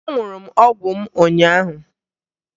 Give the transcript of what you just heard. Aṅụrụ m ọgwụ m ụnyaahụ